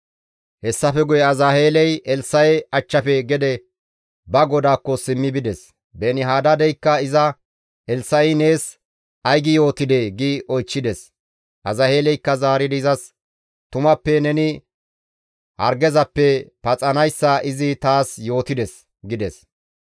Hessafe guye Azaheeley Elssa7e achchafe gede ba godaakko simmi bides; Beeni-Hadaadeykka iza, «Elssa7i nees ay gi yootidee?» gi oychchides. Azaheeleykka zaaridi izas, «Tumappe neni hargezappe paxanayssa izi taas yootides» gides.